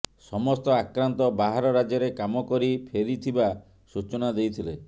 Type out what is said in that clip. ସମସ୍ତ ଆକ୍ରାନ୍ତ ବାହାର ରାଜ୍ୟରେ କାମ କରି ଫେରିଥିବା ସୁଚନା ଦେଇଥିଲେ